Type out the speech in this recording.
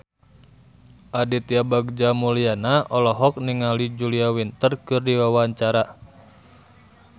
Aditya Bagja Mulyana olohok ningali Julia Winter keur diwawancara